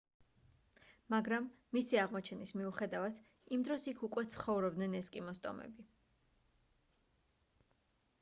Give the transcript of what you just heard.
მაგრამ მისი აღმოჩენის მიუხედავად იმ დროს იქ უკვე ცხოვრობდნენ ესკიმოს ტომები